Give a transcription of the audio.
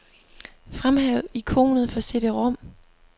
Fremhæv ikonet for cd-rom.